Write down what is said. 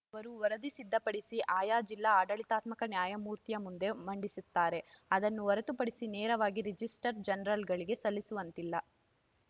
ಅವರು ವರದಿ ಸಿದ್ಧಪಡಿಸಿ ಆಯಾ ಜಿಲ್ಲಾ ಆಡಳಿತಾತ್ಮಕ ನ್ಯಾಯಮೂರ್ತಿಯ ಮುಂದೆ ಮಂಡಿಸುತ್ತಾರೆ ಅದನ್ನು ಹೊರತುಪಡಿಸಿ ನೇರವಾಗಿ ರಿಜಿಸ್ಟರ್ ಜನರಲ್‌ಗೆ ಸಲ್ಲಿಸುವಂತಿಲ್ಲ